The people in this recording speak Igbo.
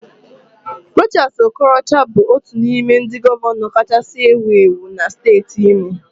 Rochas Okorocha bụ otu n'ime ndị gọvanọ kacha ewu ewu na steeti Imo.